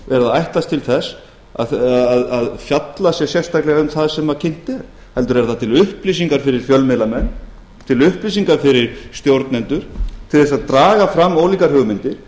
að ætlast til þess að fjallað sé sérstaklega um það sem kynnt er heldur er það til upplýsingar fyrir fjölmiðlamenn til upplýsingar fyrir stjórnendur til þess að draga fram ólíkar hugmyndir